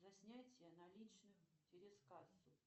за снятие наличных через кассу